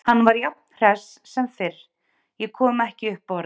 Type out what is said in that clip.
Hann var jafn hress sem fyrr, ég kom ekki upp orði.